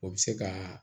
O bɛ se ka